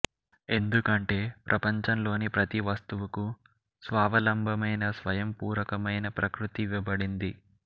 ఎందుకంటే ప్రపంచంలోని ప్రతి వస్తువుకు స్వావలంబమైన స్వయం పూరకమైన ప్రకృతి ఇవ్వబడింది